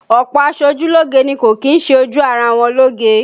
Ọ̀pọ̀ aṣojúlógé ni kò kì í ṣe ojú ara wọn lóge